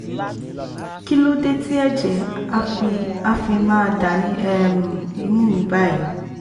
kí ló dé tí ẹ̀jẹ̀ á fi á fi máa dà ní um imú mi báyìí?